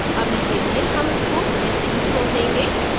अभी के लिए हम इसको ऐसे ही छोड़ देंगे